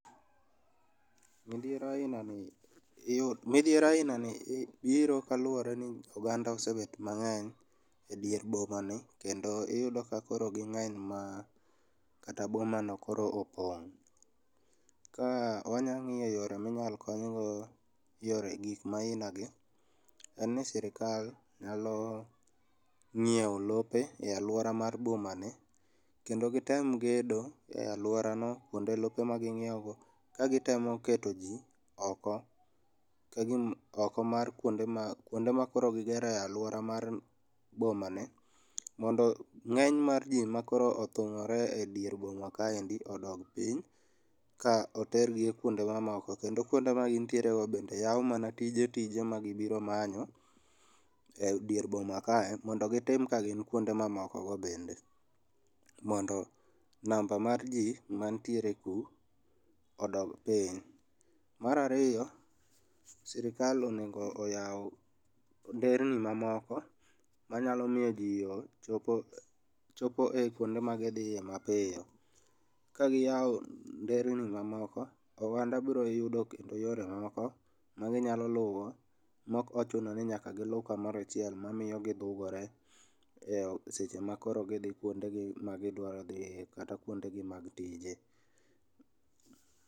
Midhiero ainani iyudo midhiero ainani biro kaluwore ni oganda osebet mang'eny edier boma ni kendo iyudo ka koro gi ng'eny ma kata bomano koro opong'. Ka wanyang'iyo yore ma inyalo konygo yore gik ma aina ni, en ni sirkal nyalo ng'iewo lope e aluora mar boma ni, kendo gitem gedo e aluorano kuonde lope maging'iewgo, kagitemo keto ji oko kagima, oko mar kuonde ma, kuonde ma koro gigero e aluora mar bomani, mondo ng'eny mar ji ma koro othung'ore edier boma kaendi odog piny, ka otergi kuonde mamoko, kendo kuonde magintiere go bende yaw mana tije tije magibiro manyo e dier boma kae, mondo gitim ka gin kuonde mamokogo bende, mondo number mar ji mantiere ku odog piny. Mar ariyo, sirkal onego oyaw nderni mamoko, manyalo miyo ji ochopo, chopo e kuonde magithiye mapiyo. Ka giyawo nderni mamoko, oganda biro yudo kendo yore mamoko ma ginyalo luwo ,mokochuno ni nyaka gilu kamoro achiel mamiyo gidhugore e seche makoro gidhii kuondegi magiduaro dhiye, kata kuondegi mag tije